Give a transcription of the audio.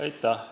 Aitäh!